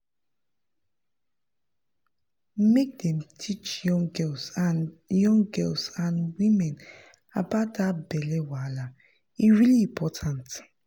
make dem dey teach young girls and young girls and women about that belly wahala e really important